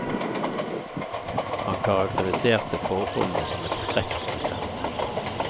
Han karakteriserte forholdene som et skrekkeksempel.